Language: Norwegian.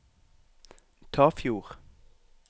Tafjord